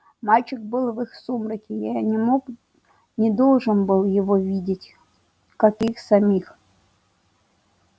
мальчик был в их сумраке я не мог не должен был его видеть как и их самих